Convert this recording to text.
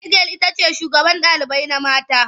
Hedigyal itace shugaban ɗalibai mata